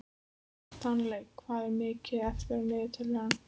Stanley, hvað er mikið eftir af niðurteljaranum?